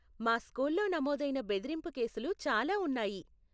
మా స్కూల్లో నమోదయిన బెదిరింపు కేసులు చాలా ఉన్నాయి.